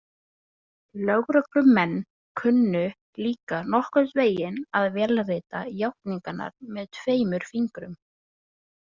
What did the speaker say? Lögreglumenn kunnu líka nokkurn veginn að vélrita játningarnar með tveimur fingrum.